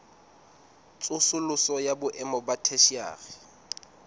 tsosoloso ya boemo ba theshiari